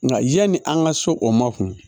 Nka yanni an ka so o ma kun